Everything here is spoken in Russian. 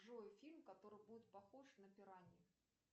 джой фильм который будет похож на пираньи